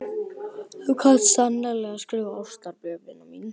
Þú kant sannarlega að skrifa ástarbréf, vina mín.